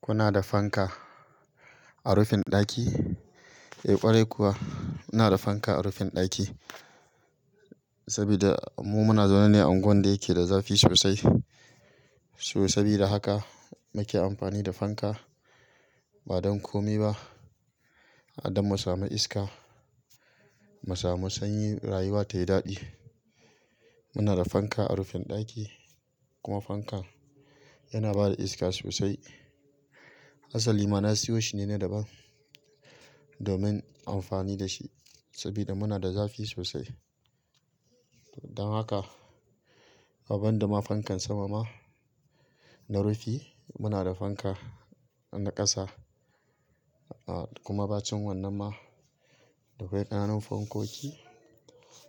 Kuna da fanka a rufin ɗaki? Eh ƙwarai kuwa, muna da fanka a rufin ɗaki saboda mu muna zaune ne a unguwan da yake da zafi sosai. So sabida haka nake amfani da fanka ba don komai ba, har damu samu iska, mu samu sanyi, rayuwa tayi daɗi. Muna da fanka a rufin ɗaki kuma fanka yana bada iska sosai. Asali ma na siyo shine na daban domin amfani da shi sabida muna da zafi sosai. Don haka, ban da ma fankan sama ma na rufi muna da fanka na ƙasa. Kuma ba cin wannan ma dakwai ƙananan fankoki